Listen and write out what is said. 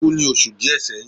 o ku ni osu diẹ seyin